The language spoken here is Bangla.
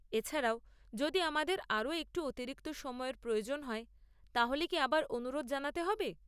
এছাড়াও, যদি আমাদের আরও একটু অতিরিক্ত সময়ের প্রয়োজন হয় তাহলে কি আবার অনুরোধ জানাতে হবে?